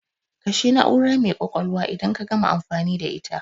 Kashe na'ura mai kwakwalwa idan ka gama amfani da ita